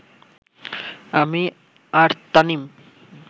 আমি আর তামিম